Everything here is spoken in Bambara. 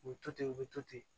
U bɛ to ten u bɛ to ten